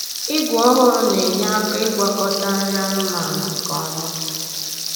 Igwe ọhụrụ na-enyere aka ịgwakọta nri anụmanụ nke ọma.